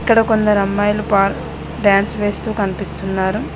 ఇక్కడ కొందరు అమ్మాయిలు పార్ డ్యాన్స్ వేస్తూ కనిపిస్తున్నారు.